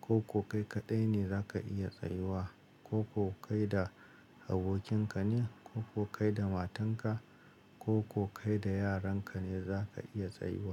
Koko kai kaɗai ne zaka iya tsayuwa? Koko kai da abokin ka ne, koko kai da matan ka, koko kai da yaran ka ne za ka iya tsayuwa?